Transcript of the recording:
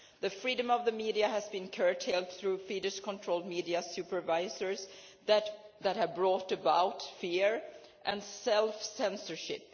The freedom of the media has been curtailed through Fidesz controlled media supervisors who have brought about fear and self censorship.